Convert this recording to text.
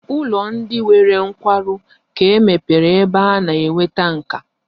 Ụlọ ndi nwere nkwarụ ka mepere ebe a na-enweta nkà